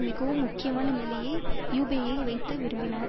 மிகவும் முக்கியமான நிலையில் யூப்பேயை வைக்க விரும்பினார்